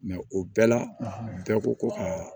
o bɛɛ la bɛɛ ko ko ka